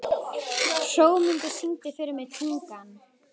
Hrómundur, syngdu fyrir mig „Tungan“.